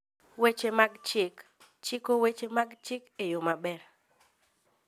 Weche mag Chik: Chiko weche mag chik e yo maber.